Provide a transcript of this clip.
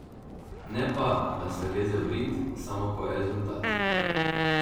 Ne pa, da se leze v rit, samo ko je rezultat.